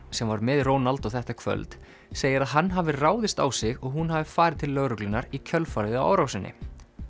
sem var með Ronaldo þetta kvöld segir að hann hafi ráðist á sig og hún hafi farið til lögreglunnar í kjölfarið á árásinni